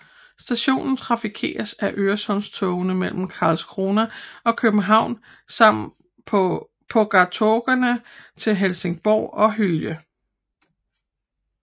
Stationen trafikeres af Øresundstogene mellem Karlskrona og København samt pågatågene til Helsingborg og Hyllie